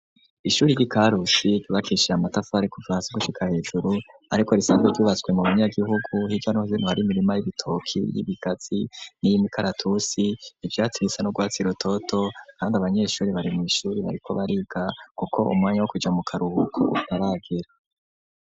Ishuri ry'i Karusi ryubakishijwe amatafari kuva hasi gushika hejuru ariko risanzwe ryubatswe mu banyagihugu hirya no hino hari imirima y'ibitoki , y'ibigazi n'iy'imikaratusi ivyatsi bisa n'urwatsi rutoto kandi abanyeshuri bari mw'ishuri bariko bariga kuko umwanya wo kuja mu karuhuko utaragera.